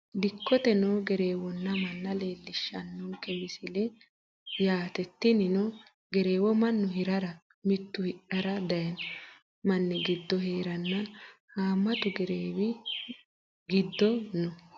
Dikkote noo gereewonna manna leelishanonke misile yaate tinino gereewo mannu hirara mitu hidhara dayino mani giddo heerana haamatu gereewi gido no.